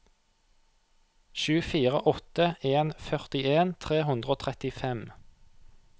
sju fire åtte en førtien tre hundre og trettifem